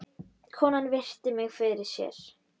Konan virti mig fyrir sér.